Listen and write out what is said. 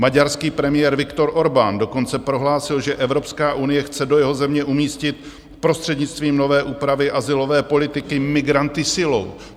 Maďarský premiér Viktor Orbán dokonce prohlásil, že Evropská unie chce do jeho země umístit prostřednictvím nové úpravy azylové politiky migranty silou.